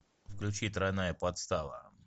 включи тройная подстава